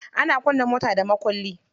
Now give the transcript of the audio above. Ana kunna mota da mukulli.